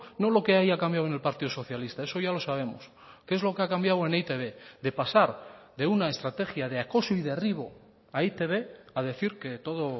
no lo que haya cambiado en el partido socialista eso ya lo sabemos qué es lo que ha cambiado en e i te be de pasar de una estrategia de acoso y derribo a e i te be a decir que todo